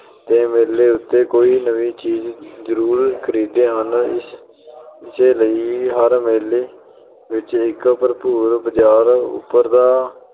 ਤੇ ਮੇਲੇ ਉੱਤੇ ਕੋਈ ਨਵੀਂ ਚੀਜ ਜਰੂਰ ਖਰੀਦਦੇ ਹਨ। ਇਸੇ ਲਈ ਹਰ ਮੇਲੇ ਵਿੱਚ ਇੱਕ ਭਰਪੂਰ ਬਜ਼ਾਰ ਉੱਭਰਦਾ